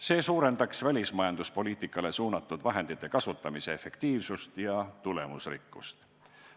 See suurendaks välismajanduspoliitikale suunatud vahendite kasutamise efektiivsust ja tulemusrikkust.